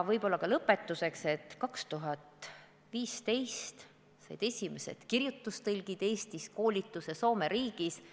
Võib-olla päris lõpetuseks, et 2015 said esimesed Eesti kirjutustõlgid koolituse Soome riigis.